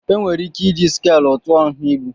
Enwere ike iji skàlụ tụọ nha ibu